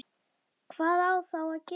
Hvað á þá að gera?